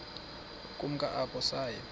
ukumka apho saya